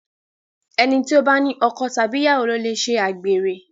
ẹní tí o bá ní ọkọ Tàbí ìyàwó lo lẹ ṣe àgbèrè